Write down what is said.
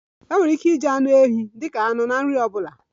E nwere ike iji anụ ehi dika anụ na nri ọbụla